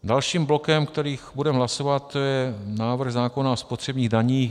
Dalším blokem, který budeme hlasovat, je návrh zákona o spotřebních daních.